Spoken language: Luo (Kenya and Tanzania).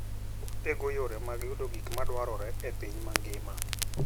Otego yore mag yudo gik madwarore e piny mangima.